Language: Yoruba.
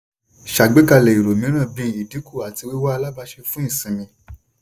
ṣàgbékalẹ̀ èrò mìíràn bí ìdínkù àti wíwá alabàáṣe fún ìṣinmi.